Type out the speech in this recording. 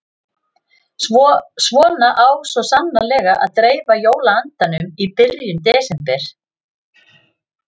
Svona á svo sannarlega að dreifa jóla-andanum í byrjun desember.